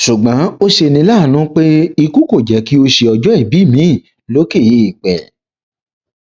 ṣùgbọn ó ṣe ní láàánú pé ikú kò jẹ kí ó ṣe ọjọ ìbí miín lókè eèpẹ